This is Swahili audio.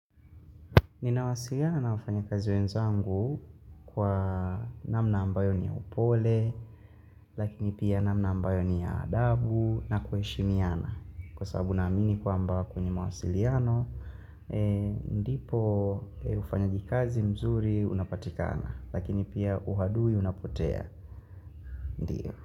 Ninawasiliana na wafanyakazi wenzangu kwa namna ambayo ni ya upole, lakini pia namna ambayo ni ya adabu na kuheshimiana. Kwa sababu naamini kwamba kwenye mawasiliano, ndipo ufanyaji kazi mzuri unapatikana, lakini pia uadui unapotea.